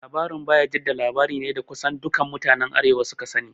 Labarin Bayajidda labari ne da kusan dukan mutanen arewa su ka sani